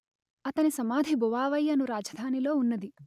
అతని సమాధి బొవా వై అను రాజధానిలో ఉన్నది